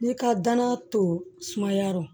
N'i ka danaya to sumayarɔ